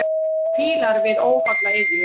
Fílar við óholla iðju.